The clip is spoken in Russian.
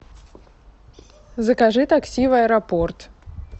закажи такси в аэропорт